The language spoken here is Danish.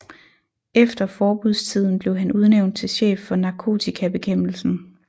Efter forbudstiden blev han udnævnt til chef for narkotikabekæmpelsen